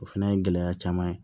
O fana ye gɛlɛya caman ye